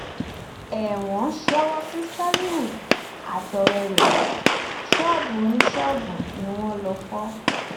ẹwọn ń ṣèwọ sí ṣálíhù àtọrẹ ẹ ṣọọbù oníṣọọbù ni wọn lọọ fọ